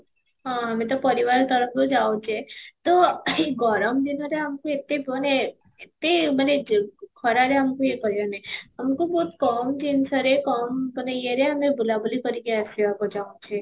ହଁ, ଆମେ ତ ପରିବାର ତରଫରୁ ଯାଉଛେ ତ ଏଇ ଗରମ ଦିନରେ ଆମକୁ ଏତେ ମାନେ ଏତେ ମାନେ ଯେ ଖରାରେ ଆମକୁ ୟେ କରିବାର ନାହିଁ ଆମକୁ ବହୁତ କମ ଜିନିଷରେ ସେ କମ ମାନେ ୟେ ରେ ଆମେ ବୁଲା ବୁଲି କରିକି ଆସିବାକୁ ଚାହୁଁଛେ